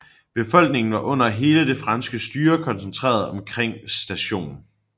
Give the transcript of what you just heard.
Befolkningen var under hele det franske styre koncentreret omkring St